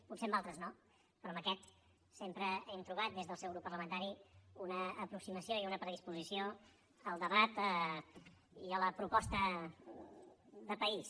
potser en altres no però en aquest sempre hem trobat des del seu grup parlamentari una aproximació i una predisposició al debat i a la proposta de país